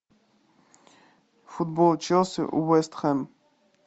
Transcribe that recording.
футбол челси вест хэм